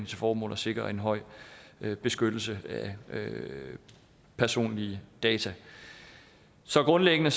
til formål at sikre en høj beskyttelse af personlige data så grundlæggende